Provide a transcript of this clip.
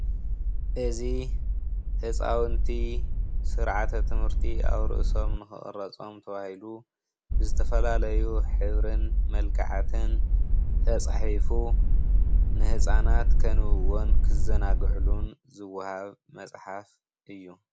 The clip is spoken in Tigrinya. እዚ ህፃውንቲ ስርዓተ ትምህርቲ ኣብ ርእሶም ንኽቅረፆም ተባሂሉ ዝተፈላለዩ ሕብርን መልክዓትን ተፃሒፉ ንህፃናት ከንብብዎን ክዘናግዑሉን ዝወሃብ መፅሓፍ እዩ ።